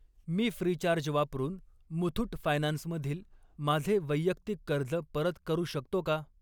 मी Freecharge वापरून Muthoot Finance मधील माझे वैयक्तिक कर्ज परत करू शकतो का?